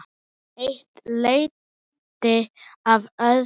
Eitt leiddi af öðru.